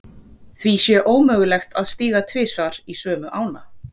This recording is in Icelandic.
Því sé ómögulegt að stíga tvisvar í sömu ána.